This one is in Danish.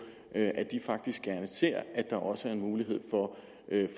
at at de faktisk gerne ser at der også er mulighed